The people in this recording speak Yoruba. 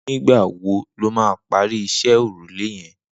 Nigbà wò ló mà pàri iṣẹ̀ órúlé yẹ̀n?